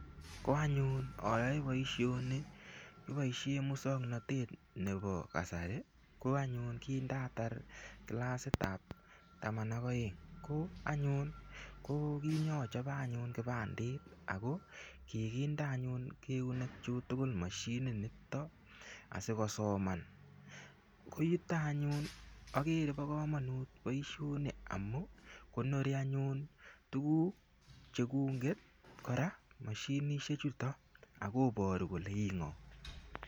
Ko anyun ayoe boishoni kiboishe muswong'natet nebo kasari ko anyun kindatar kilasitab taman ak oeng' ko anyun ko kinyachope anyun kipandit ako kikinde anyun keunekchu tugul moshininito asikosoman ko yuto anyun akere bo komonut boishoni amu konori anyun tukuk chekunget kora mashinishechuto akoboru kole ii ng'o